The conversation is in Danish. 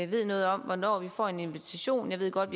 ved noget om hvornår vi får en invitation jeg ved godt